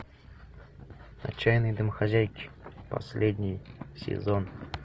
отчаянные домохозяйки последний сезон